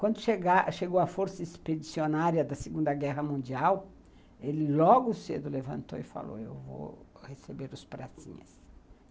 Quando chegou a Força Expedicionária da Segunda Guerra Mundial, ele logo cedo levantou e falou, eu vou receber os pratinhas.